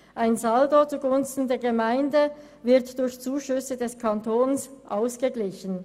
Ein Saldo zugunsten der Gemeinden wird durch Zuschüsse des Kantons ausgeglichen.